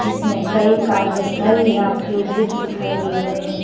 जिसमें कई कार्य स्थल या क्यूबलीक दिखाई दे रहे हैं।